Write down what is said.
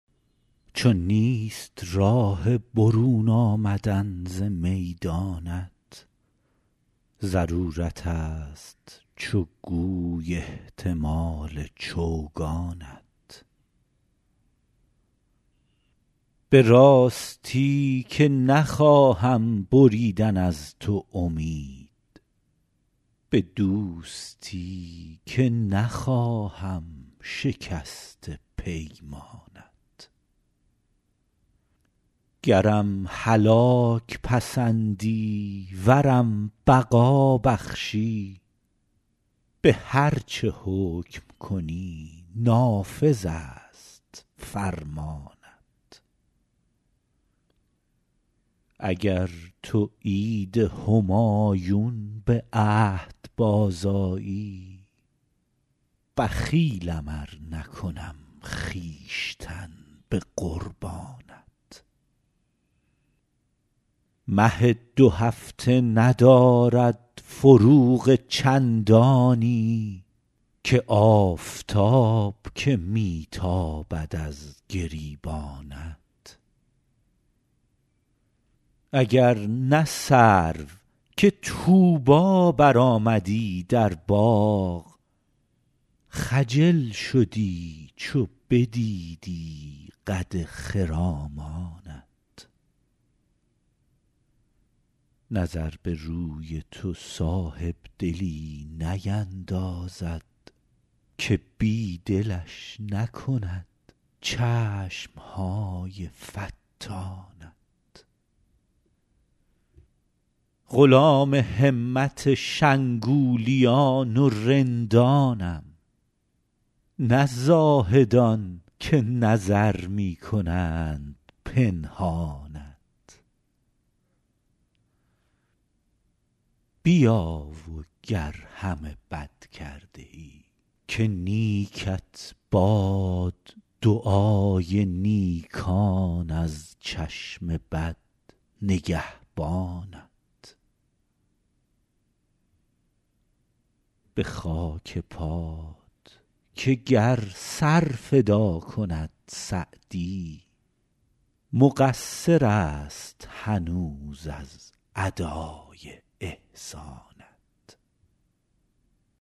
چو نیست راه برون آمدن ز میدانت ضرورتست چو گوی احتمال چوگانت به راستی که نخواهم بریدن از تو امید به دوستی که نخواهم شکست پیمانت گرم هلاک پسندی ورم بقا بخشی به هر چه حکم کنی نافذست فرمانت اگر تو عید همایون به عهد بازآیی بخیلم ار نکنم خویشتن به قربانت مه دوهفته ندارد فروغ چندانی که آفتاب که می تابد از گریبانت اگر نه سرو که طوبی برآمدی در باغ خجل شدی چو بدیدی قد خرامانت نظر به روی تو صاحبدلی نیندازد که بی دلش نکند چشم های فتانت غلام همت شنگولیان و رندانم نه زاهدان که نظر می کنند پنهانت بیا و گر همه بد کرده ای که نیکت باد دعای نیکان از چشم بد نگهبانت به خاک پات که گر سر فدا کند سعدی مقصرست هنوز از ادای احسانت